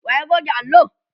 wa ya goge allo?